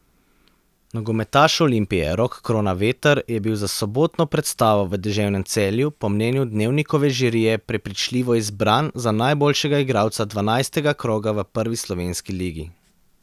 Nogometaš Olimpije Rok Kronaveter je bil za sobotno predstavo v deževnem Celju po mnenju Dnevnikove žirije prepričljivo izbran za najboljšega igralca dvanajstega kroga v prvi slovenski ligi.